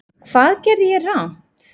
Hvað gerði ég rangt?